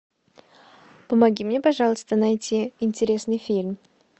помоги мне пожалуйста найти интересный фильм